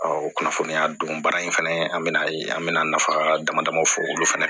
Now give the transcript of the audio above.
o kunnafoniya don baara in fɛnɛ an bɛn'a ye an bɛna nafa dama dama fɔ olu fana